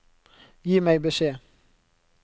Gi meg beskjed